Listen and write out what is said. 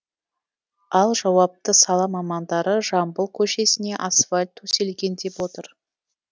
ал жауапты сала мамандары жамбыл көшесіне асфальт төселген деп отыр